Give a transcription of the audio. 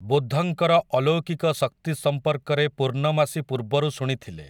ବୁଦ୍ଧଙ୍କର ଅଲୌକିକ ଶକ୍ତି ସମ୍ପର୍କରେ ପୂର୍ଣ୍ଣମାସୀ ପୂର୍ବରୁ ଶୁଣିଥିଲେ ।